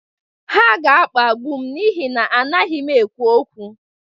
Ha ga-akpagbu m n'ihi na anaghị m ekwu okwu.